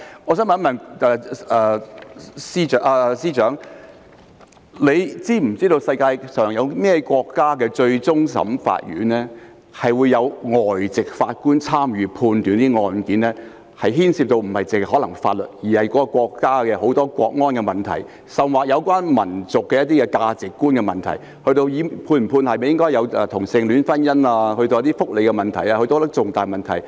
我想問司長是否知道，世界上有哪些國家的終審法院會有外籍法官參與審判案件，而案件不僅牽涉法律，還牽涉國安問題，甚或有關民族的價值觀的問題，以至應否有同性戀婚姻或福利等方面的重大問題？